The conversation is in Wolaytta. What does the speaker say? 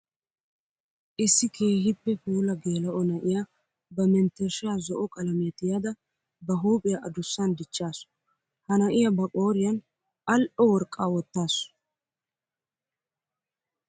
Issi keehippe puula geela'o na'iya ba menttershsha zo'o qalamiya tiyadda ba huuphiya adussan dichchassu. Ha na'iya ba qooriyan ali'o worqqa wottasu.